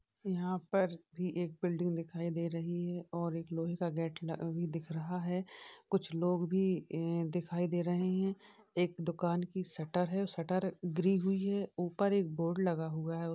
यहाँ पर भी एक बिलडिंग दिखाई दे रही है और एक लोहे का गेट ल भी दिख रहा है। कुछ लोग भी ए दिखाई दे रहे हैं। एक दुकान कि शटर है। शटर गिरी हुई है। उपर एक बोर्ड लगा हुआ है।